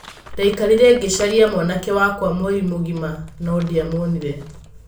Ndaikarire ngĩcaragia mwanake wakwa mweri mũgima no ndiamuonire.